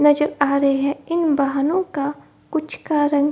नज़र आ रहे हैं | इन वाहनों का कुछ कारण --